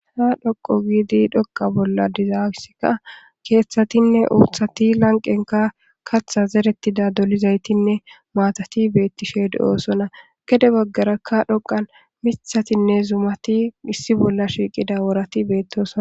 Ha dhoqu giidi dhoqa bolla dizayissika keeththatinne uuthati lanqqenkka katha zeretida dolizaytinne maatati beettishe de7oosona. Gede baggarakka dhoqan mithatinne zumati issi bolla shiiqida woorati beettosona.